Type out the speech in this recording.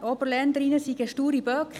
Oberländerinnen seien sture Böcke.